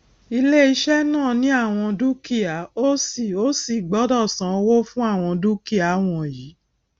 iléiṣẹ náà ní àwon dúkìá ó sì ó sì gbọdọ san owó fún àwọn dúkìá wọnyí